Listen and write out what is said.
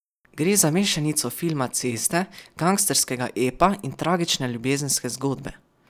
Gre za mešanico filma ceste, gangsterskega epa in tragične ljubezenske zgodbe.